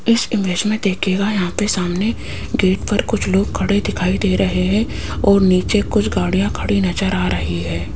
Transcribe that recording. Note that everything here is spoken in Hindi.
इस इमेज में देखिएगा यहां पे सामने गेट पर कुछ लोग खड़े दिखाई दे रहे हैं और नीचे कुछ गाड़ियां खड़ी नजर आ रही है।